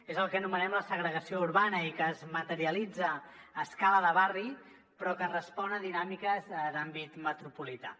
és el que anomenem la segregació urbana i que es materialitza a escala de barri però que respon a dinàmiques d’àmbit metropolità